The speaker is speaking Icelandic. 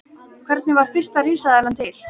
Hvernig varð fyrsta risaeðlan til?